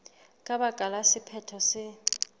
ka baka la sephetho se